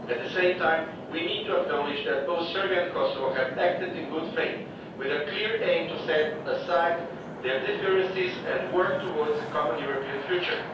At the same time, we need to acknowledge that both Serbia and Kosovo have acted in good faith, with a clear aim to set aside their differences and work towards a common European future.